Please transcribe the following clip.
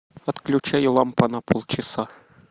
отключай лампа на полчаса